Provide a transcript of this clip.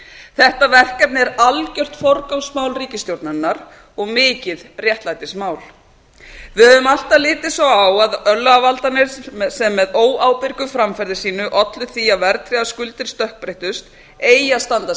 þetta verkefni er algjört forgangsmál ríkisstjórnarinnar og mikið réttlætismál við höfum alltaf litið svo á að örlagavaldarnir sem með óábyrgu framferði sínu ollu því að verðtryggðar skuldir stökkbreyttust eigi að standa skil